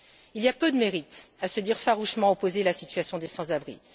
Il y a peu de mérite à se dire farouchement opposé à la situation des sans abris.